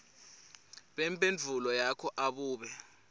bemphendvulo yakho abube